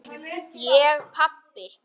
Ég pabbi!